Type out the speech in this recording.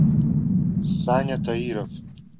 саня таиров